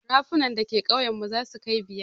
Rafunan da ke ƙauyen mu zasu kai biyar.